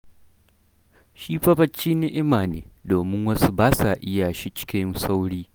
Shi fa barci ni'ima ne, domin wasu ba sa iya shi cikin sauri.